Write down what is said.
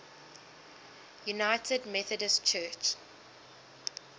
united methodist church